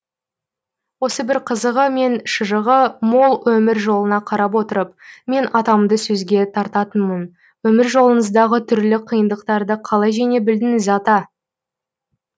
осы бір қызығы мен шыжығы мол өмір жолына қарап отырып мен атамды сөзге тартатынмын өмір жолыңыздағы түрлі қиындықтарды қалай жеңе білдіңіз ата